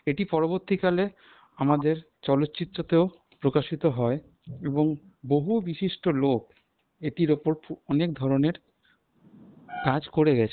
এটি পরবর্তীকলে আমাদের চলচ্চিত্রতেও প্রকাশিত হয় এবং বহু বিশিষ্ট লোক এটির ওপর অনেক ধরনের কাজ করে গেছে।